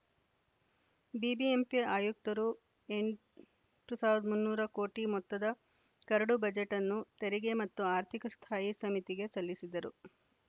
BBMP ಆಯುಕ್ತರು ಎಂಟ್ ಟು ಸಾವಿರದ ಮುನ್ನೂರ ಕೋಟಿ ಮೊತ್ತದ ಕರಡು ಬಜೆಟನ್ನು ತೆರಿಗೆ ಮತ್ತು ಆರ್ಥಿಕ ಸ್ಥಾಯಿ ಸಮಿತಿಗೆ ಸಲ್ಲಿಸಿದ್ದರು